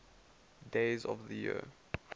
days of the year